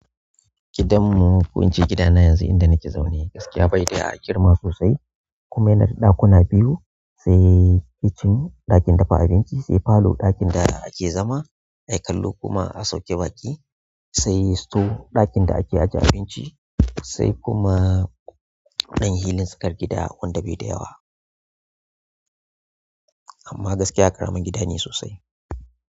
Gidanmu ko ince gidana yanzu inda nake zaune gaskiya bai da girma sosai. Ku yana da ɗakuna biyu sai kitchen ɗakin dafa abinci, sai parlour ɗakin da ake zama ai kallo kuma a sauke baƙi, sai store ɗakin da ake ajiye abinci sai kuma ɗan hili tsakar gida wanda bai da yawa. Amma gaskiya ƙaramin gida ne sosai.